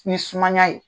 Ni sumaya ye